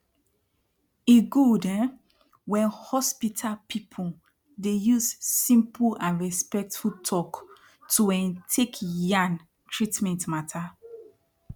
e gud um wen hospital people dey use simple and respectful talk to um tek yan treatment mata